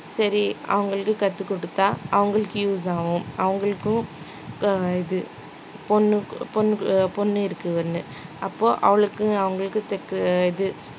சரி அவங்களுக்கு கத்துக் குடுத்தா அவங்களுக்கு use ஆகும் அவங்களுக்கும் ஆஹ் இது பொண்ணு இருக்கு ஒண்ணு அப்போ அவளுக்கும் அவங்களுக்கும் இது